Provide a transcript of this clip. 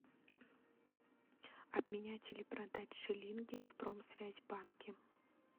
обменять или продать шиллинги в промсвязьбанке